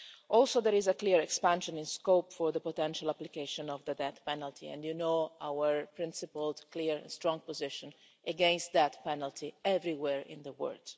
Also, there is a clear expansion in scope for the potential application of the death penalty, and you know our principled, clear, strong position against that penalty everywhere in the world.